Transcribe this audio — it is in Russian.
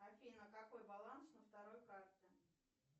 афина какой баланс на второй карте